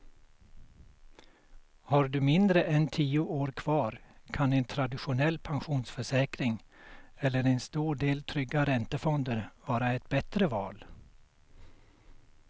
Har du mindre än tio år kvar kan en traditionell pensionsförsäkring eller en stor del trygga räntefonder vara ett bättre val.